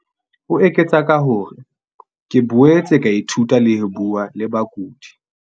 O eketsa ka hore, "ke boetse ka ithuta le ho bua le bakudi."